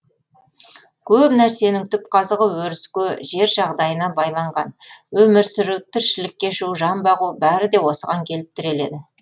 көп нәрсенің түп қазығы өріске жер жағдайына байланған өмір сүру тірлік кешу жан бағу бәрі де осыған келіп тіреледі